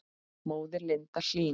Móðir Linda Hlín.